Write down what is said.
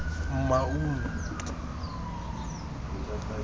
maun